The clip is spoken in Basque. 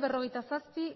berrogeita zazpi